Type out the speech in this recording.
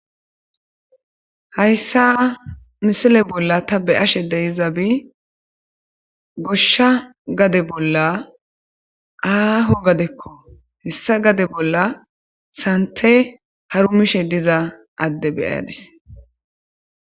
Haysa ha misile bola ta beyashe dizay gosha gade bola aho gadeko hessa gade bolla santhe harumishe diza ade be'adis